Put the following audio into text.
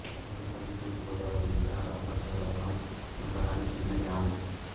బీరంపల్లి తూర్పు గోదావరి జిల్లా రంపచోడవరం మండలానికి చెందిన గ్రామం